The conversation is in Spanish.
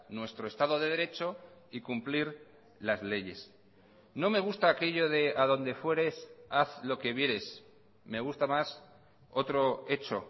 nuestro estado de derecho y cumplir las leyes no me gusta aquello de adonde fueres haz lo que vieres me gusta más otro hecho